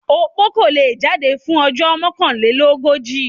Opó kò le è jáde fún ojó Mọ́kànlélógójì.